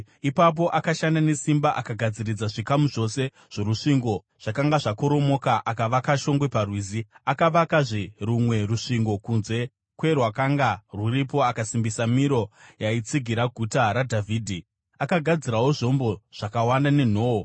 Ipapo akashanda nesimba akagadziridza zvikamu zvose zvorusvingo zvakanga zvakoromoka akavaka shongwe parwizi. Akavakazve rumwe rusvingo kunze kwerwakanga rwuripo akasimbisa Miro yaitsigira guta raDhavhidhi. Akagadzirawo zvombo zvakawanda nenhoo.